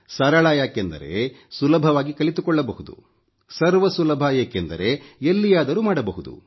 ಸರಳ ಯಾಕೆಂದರೆ ಸುಲಭವಾಗಿ ಕಲಿತುಕೊಳ್ಳಬಹುದು ಸರ್ವ ಸುಲಭ ಏಕೆಂದರೆ ಎಲ್ಲಿಯಾದರೂ ಮಾಡಬಹುದು